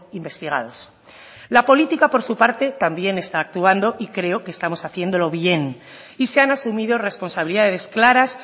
investigados la política por su parte también está actuando y creo que estamos haciéndolo bien y se han asumido responsabilidades claras